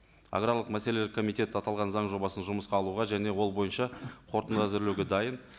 аграрлық мәселелер комитеті аталған заң жобасын жұмысқа алуға және ол бойынша қорытынды әзірлеуге дайын